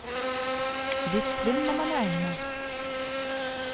Litt svinn må man regne med.